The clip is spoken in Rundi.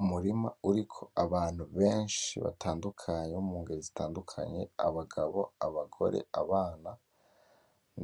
Umurima uriko abantu benshi batadukanye bomugero zitadukanye abagabo, abagore, abana